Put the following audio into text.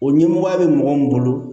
O ɲɛmɔgɔya bɛ mɔgɔ min bolo